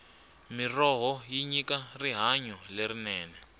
mirhoho yi nyika rihanyo lerinene